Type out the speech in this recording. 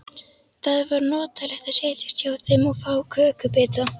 Það var notalegt að setjast hjá þeim og fá kökubita.